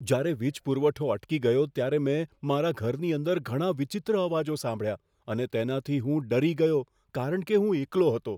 જ્યારે વીજ પુરવઠો અટકી ગયો, ત્યારે મેં મારા ઘરની અંદર ઘણા વિચિત્ર અવાજો સાંભળ્યા અને તેનાથી હું ડરી ગયો કારણ કે હું એકલો હતો.